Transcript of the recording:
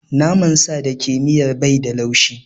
Naman sa da ke miyar bai da laushi.